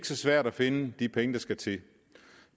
så svært at finde de penge der skal til